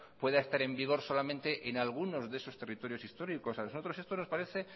pueda estar en vigor solamente en algunos de esos territorios históricos a nosotros esto nos parece